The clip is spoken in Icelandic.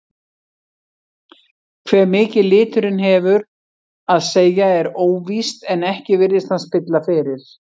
Hve mikið liturinn hefur að segja er óvíst en ekki virðist hann spilla fyrir.